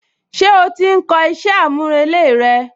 Ṣé ó ti ń kọ iṣẹ́ àmúrelé rẹ?